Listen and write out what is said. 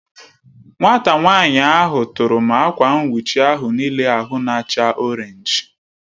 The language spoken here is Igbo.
Nwata nwanyi ahụ u tụrụ m akwa nwuchi ahụ n'ile ahụ n'acha Orénj